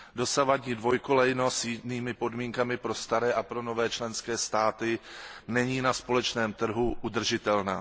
Dosavadní dvojkolejnost s jinými podmínkami pro staré a pro nové členské státy není na společném trhu udržitelná.